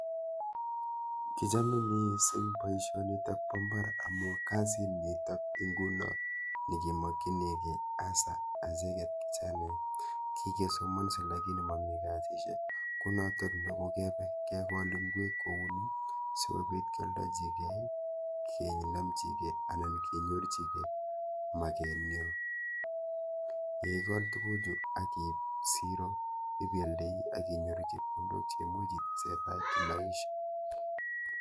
Kichome missing boisionitok ba mbar amu kasit nikok inguno nekemakchinigei hasa acheget kichanaek. Kigesomanse lakini mami kasishek, kounotok ne kogebe kegol ingwek kouni sogobit kialdajigei, kenamchigei anan kenyorchigei maget nyo. Ye ikol tuguchu akiib siro ibialdei akinyoru chepkondok cheimuch itesetai kimaisha.